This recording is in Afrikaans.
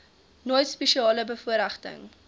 nooit spesiale bevoorregting